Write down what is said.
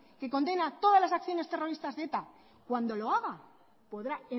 que condena todas las acciones terroristas de eta cuando lo haga podrá